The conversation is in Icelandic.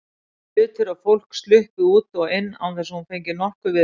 Hlutir og fólk sluppu út og inn án þess að hún fengi nokkuð við ráðið.